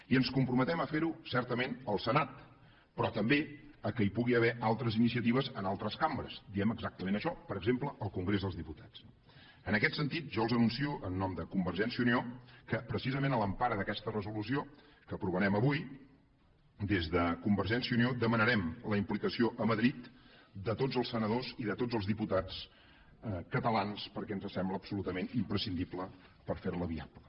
i ens comprometem a fer ho certament al senat però també que hi pugui haver altres iniciatives en altres cambres diem exactament això per exemple al congrés dels diputats no en aquest sentit jo els anuncio en nom de convergència i unió que precisament a l’empara d’aquesta resolució que aprovarem avui des de convergència i unió demanarem la implicació a madrid de tots els senadors i de tots els diputats catalans perquè ens sembla absolutament imprescindible per fer la viable